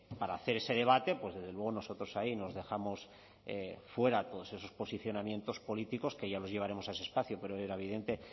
para hacer ese debate pues desde luego nosotros ahí nos dejamos fuera todos esos posicionamientos políticos que ya los llevaremos a ese espacio pero era evidente